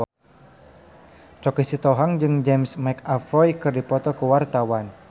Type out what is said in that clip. Choky Sitohang jeung James McAvoy keur dipoto ku wartawan